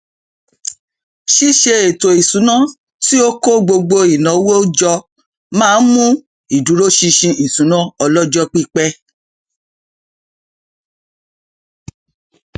ṣíṣè ètò isuna tí ó kó gbogbo ináwó jọ má ń mú ìdúróṣinṣin ìṣúná ọlọjọpípẹ